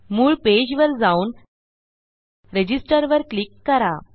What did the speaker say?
मूळ पेजवर जाऊन रजिस्टर वर क्लिक करा